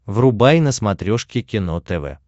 врубай на смотрешке кино тв